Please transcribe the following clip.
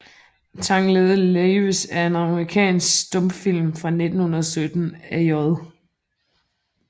Tangled Lives er en amerikansk stumfilm fra 1917 af J